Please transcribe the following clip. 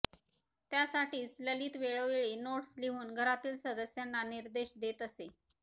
त्यासाठीच ललित वेळोवेळी नोट्स लिहून घरातील सदस्यांना निर्देश देत असे